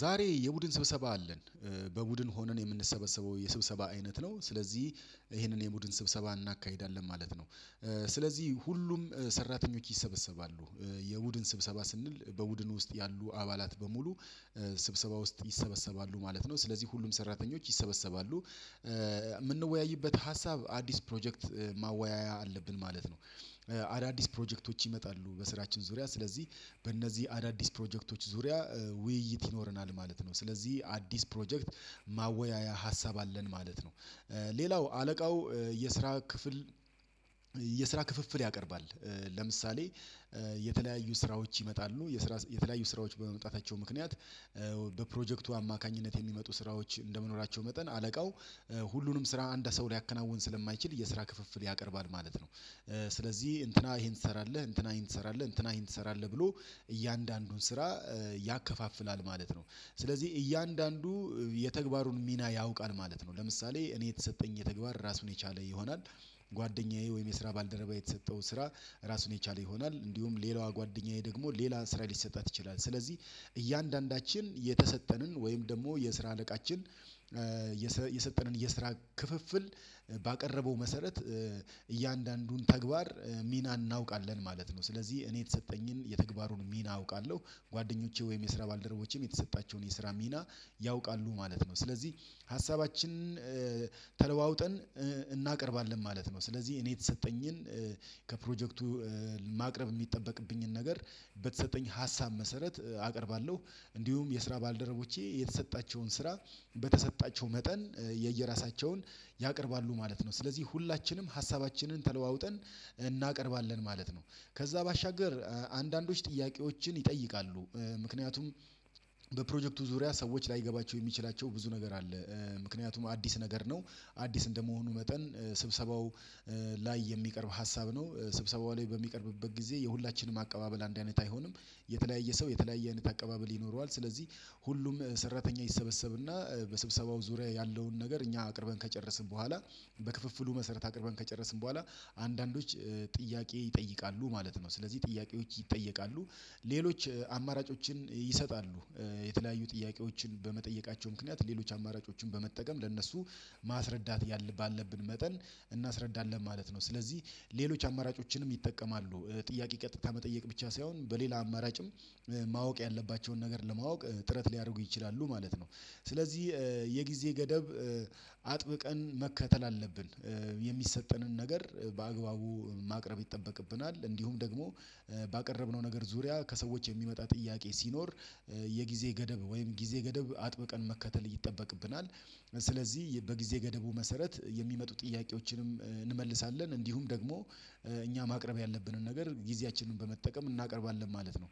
ዛሬ የቡድን ስብሰባ አለን በቡድን ሆነን የምንሰበሰበው የስብሰባ አይነት ነው ስለዚህ ይሄንን የቡድን ስብሰባ እናካሂዳለን ማለት ነው። ስለዚህ ሁሉም ሰራተኞች ይሰበሰባሉ የቡድን ስብሰባ ስንል በቡድኑ ውስጥ ያሉ አባላት በሙሉ ስብሰባ ውስጥ ይሰበሰባሉ ማለት ነው ስለዚህ ሁሉም ሰራተኞች ይሰበሰባሉ። የምንወያይበት ሀሳብ አዲስ ፕሮጀክት ማወያያ አለብን ማለት ነው። አዳዲስ ፕሮጀክቶች ይመጣሉ በስራችን ዙሪያ ስለዚህ በእነዚህ አዳዲስ ፕሮጀክቶች ዙሪያ ውይይት ይኖረናል ማለት ነው። ስለዚህ አዲስ ፕሮጀክት ማወያያ ሀሳብ አለን ማለት ነው። ሌላው አለቃው የስራ ክፍል የስራ ክፍፍል ያቀርባል። ለምሳሌ የተለያዩ ስራዎች ይመጣሉ የስራ የተለያዩ ስራዎች በመምጣታቸው ምክንያት በፕሮጀክቱ አማካኝነት የሚመጡ ስራዎች እንደመኖራቸው መጠን አለቃው ሁሉንም ስራ እንደ ሰው ሊያከናውን ስለማይችል የስራ ክፍፍል ያቀርባል ማለት ነው። ስለዚህ እንትና ይሄን ትሰራለህ እንትና ይሄን ትሰራለህ እንትና ይሄን ትሰራለህ ብሎ እያንዳንዱን ስራ ያከፋፍላል ማለት ነው። ስለዚህ እያንዳንዱ የተግባሩን ሚና ያውቃል ማለት ነው። ለምሳሌ እኔ የተሰጠኝ የተግባር ራሱን የቻለ ይሆናል። ጓደኛዬ ወይም የስራ ባልደረባ የተሰጠው ስራ ራሱን የቻለ ይሆናል እንዲሁም ሌላዋ ጓደኛዬ ደግሞ ሌላ ስራ ሊሰጣት ይችላል። ስለዚህ እያንዳንዳችን የተሰጠንን ወይም ደግሞ የስራ አለቃችን የሰጠንን የስራ ክፍፍል ባቀረበው መሰረት እያንዳንዱን ተግባር ሚና እናውቃለን ማለት ነው። ስለዚህ እኔ የተሰጠኝን የተግባሩን ሚና አውቃለሁ ጓደኞቼ ወይም የስራ ባልደረቦቼም የተሰጣቸውን የስራ ሚና ያውቃሉ ማለት ነው። ስለዚህ ሀሳባችንን ተለዋውጠን እናቀርባለን ማለት ነው። ስለዚህ እኔ የተሰጠኝን ከፕሮጀክቱ ማቅረብ የሚጠበቅብኝን ነገር በተሰጠኝ ሀሳብ መሰረት አቀርባለሁ እንዲሁም የስራ ባልደረቦቼ የተሰጣቸውን ስራ በተሰጣቸው መጠን የየራሳቸውን ያቀርባሉ ማለት ነው። ስለዚህ ሁላችንም ሀሳባችንን ተለዋውጠን እናቀርባለን ማለት ነው። ከዛ ባሻገር አንዳንዶች ጥያቄዎችን ይጠይቃሉ ምክንያቱም በፕሮጀክቱ ዙሪያ ሰዎች ላይገባቸው የሚችላቸው ብዙ ነገር አለ። ምክንያቱም አዲስ ነገር ነው። አዲስ እንደመሆኑ መጠን ስብሰባው ላይ የሚቀርብ ሀሳብ ነው ስብሰባው ላይ በሚቀርብበት ጊዜ የሁላችንም አቀባበል አንድ አይነት አይሆንም። የተለያየ ሰው የተለያየ አይነት አቀባበል ይኖረዋል ስለዚህ ሁሉም ሰራተኛ ይሰበሰብና በስብሰባው ዙሪያ ያለውን ነገር እኛ አቅርበን ከጨረስን በኋላ በክፍፍሉ መሰረት አቅርበን ከጨረስን በኋላ አንዳንዶች ጥያቄ ይጠይቃሉ ማለት ነው። ስለዚህ ጥያቄዎች ይጠየቃሉ። ሌሎች አማራጮችን ይሰጣሉ። የተለያዩ ጥያቄዎችን በመጠየቃቸው ምክንያት ሌሎች አማራጮችን በመጠቀም ለእነሱ ማስረዳት ያለ ባለብን መጠን እናስረዳለን ማለት ነው። ስለዚህ ሌሎች አማራጮችንም ይጠቀማሉ ጥያቄ ቀጥታ መጠየቅ ብቻ ሳይሆን በሌላ አማራጭም ማወቅ ያለባቸውን ነገር ለማወቅ ጥረት ሊያደርጉ ይችላሉ ማለት ነው። ስለዚህ የጊዜ ገደብ አጥብቀን መከተል አለብን። የሚሰጠንን ነገር በአግባቡ ማቅረብ ይጠበቅብናል እንዲሁም ደግሞ ባቀረብነው ነገር ዙሪያ ከሰዎች የሚመጣ ጥያቄ ሲኖር የጊዜ ገደብ ወይም ጊዜ ገደብ አጥብቀን መከተል እየተጠበቅብናል። ስለዚህ በጊዜ ገደቡ መሰረት የሚመጡ ጥያቄዎችንም እንዲሁም ደግሞ እኛ ማቅረብ ያለብንን ነገር ጊዜያችንን በመጠቀም እናቀርባለን ማለት ነው።